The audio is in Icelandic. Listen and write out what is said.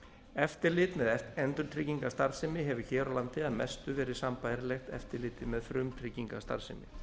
eftirlit með endurtryggingastarfsemi hefur hér á landi að mestu verið sambærilegt eftirliti með frumtryggingastarfsemi